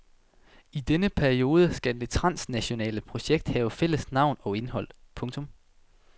I denne periode skal det transnationale projekt have fælles navn og indhold. punktum